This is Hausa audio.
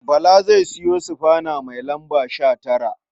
Bala zai sayo sufana mai lamba 19.